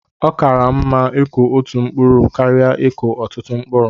Ọ kaara m mma ịkụ otú mkpụrụ karịa ikụkọ ọtụtụ mkpụrụ